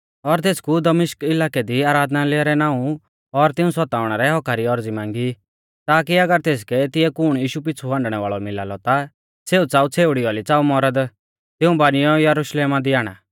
और तेसकु दमिश्क इलाकै दी आराधनालय रै नाऊं और तिऊं सताउणै रै हक्क्का री औरज़ी मांगी ताकी अगर तेसकै तिऐ कुण यीशु पिछ़ु हांडणै वाल़ौ मिला लौ ता सेऊ च़ाऊ छ़ेउड़ी औली च़ाऊ मौरद तिऊं बानिऔ यरुशलेमा दी आणा